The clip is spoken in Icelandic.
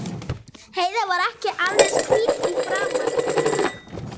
Heiða var ekki alveg eins hvít í framan núna.